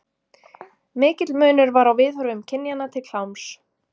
Mikill munur var á viðhorfum kynjanna til kláms.